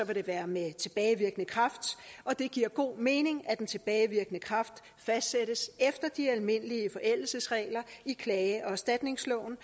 det være med tilbagevirkende kraft og det giver god mening at den tilbagevirkende kraft fastsættes efter de almindelige forældelsesregler i klage og erstatningsloven